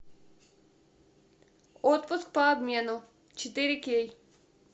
отпуск по обмену четыре кей